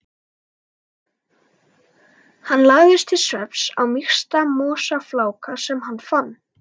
Hann lagðist til svefns á mýksta mosafláka sem hann fann.